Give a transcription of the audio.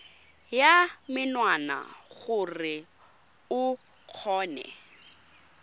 ya menwana gore o kgone